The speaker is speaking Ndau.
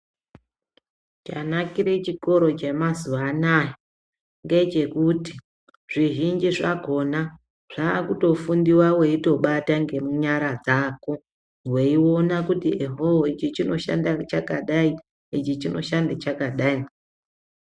Chanakire chikoro chemazuvaanaya ngechekuti zvizhinji zvakona zvakutofundiwa wetoibata ngenyara dzako weiona kuti ohoo ichi chinoshanda chakadayi ichi chinoshanda chakadayi .